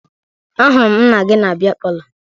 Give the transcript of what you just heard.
Ahụrụ m nna gị na bịa palọ